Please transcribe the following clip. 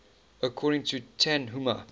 according to tanhuma